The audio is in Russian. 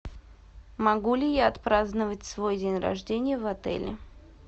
могу ли я отпраздновать свой день рождения в отеле